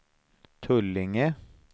Tullinge